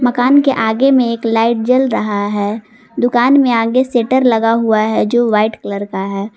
मकान के आगे में एक लाइट जल रहा है दुकान में आगे शटर लगा हुआ है जो व्हाइट कलर का है।